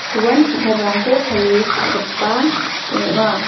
uan ki·taprangko pale cha·gipa ong·a.